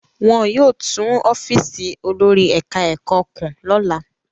Wọn yóò tún ọ́fíísì olórí ẹ̀ka-ẹ̀kọ́ kùn lọ́la.